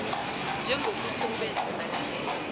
njengokuthi ubenze balalele